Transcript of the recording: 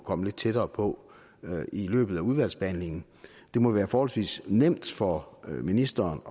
komme lidt tættere på i løbet af udvalgsbehandlingen det må være forholdsvis nemt for ministeren